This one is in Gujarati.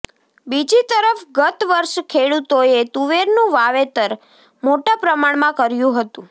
બીજી તરફ ગતવર્ષે ખેડૂતોએ તુવેરનું વાવેતર મોટા પ્રમાણમાં કર્યું હતું